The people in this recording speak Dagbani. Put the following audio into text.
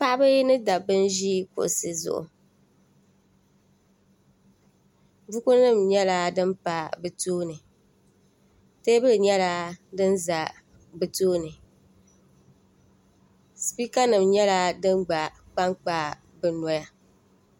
Paɣiba ni dabba n-nyɛ ban ʒi kuɣisi zuɣu bukunima nyɛla din pa bɛ tooni teebuli nyɛla din za bɛ tooni sipiikanima nyɛla din gba kpankpa bɛ noya